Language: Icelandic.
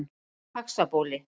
Faxabóli